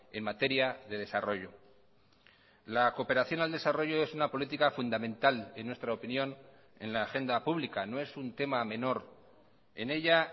en materia de desarrollo la cooperación al desarrollo es una política fundamental en nuestra opinión en la agenda pública no es un tema menor en ella